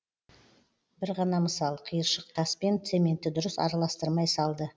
бір ғана мысал қиыршық тас пен цементті дұрыс араластырмай салды